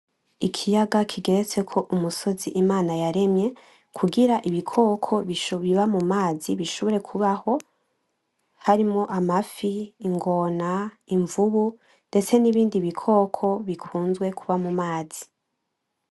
Ikiyaga kigeretseko umusozi Imana yaremye ,kugira ibikoko biba mu mazi bishobore kubaho, harimwo amafi, ingona, imvubu ndetse nibindi bikoko bikunze kuba mu mazi.